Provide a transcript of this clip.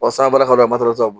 san bara ka don a la matarataaw bolo